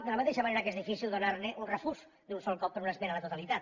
de la mateixa manera que és difícil donar ne un refús d’un sol cop per una esmena a la totalitat